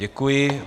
Děkuji.